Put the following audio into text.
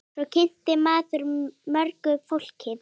Svo kynnist maður mörgu fólki.